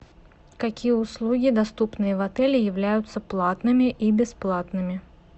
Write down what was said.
какие услуги доступные в отеле являются платными и бесплатными